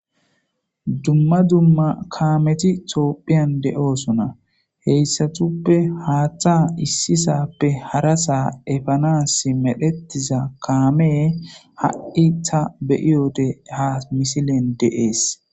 Dumma dumma kaameti toophiyan de'oosona heyssatuppe haaththa issisappe hara saa efanas medhetiza kaamee ha' ta beyiyode ha misilen de's